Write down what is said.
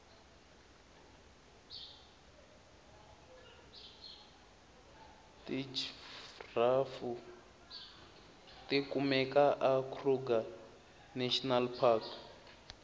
tijfrhafu tikumeka a kruger national park